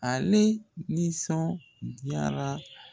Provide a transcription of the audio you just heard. Ale nisɔn diyara.